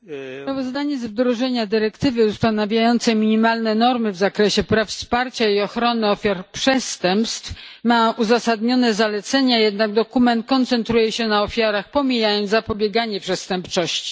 Panie Przewodniczący! Sprawozdanie z wdrożenia dyrektywy ustanawiającej minimalne normy w zakresie praw, wsparcia i ochrony ofiar przestępstw ma uzasadnione zalecenia, jednak dokument koncentruje się na ofiarach, pomijając zapobieganie przestępczości.